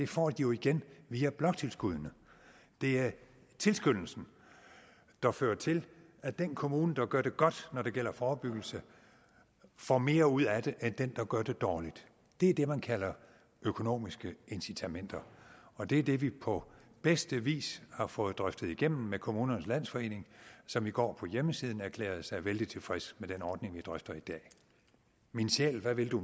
får de igen via bloktilskuddene det er tilskyndelsen der fører til at den kommune der gør det godt når det gælder forebyggelse får mere ud af det end den kommune der gør det dårligt det er det man kalder økonomiske incitamenter og det er det vi på bedste vis har fået drøftet igennem med kommunernes landsforening som i går på hjemmesiden erklærede sig vældig tilfredse med den ordning vi drøfter i dag min sjæl hvad vil du